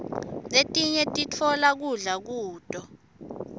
letinye siftola kudla kuto